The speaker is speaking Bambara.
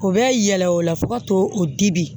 U bɛ yɛlɛ o la fo ka to o dibi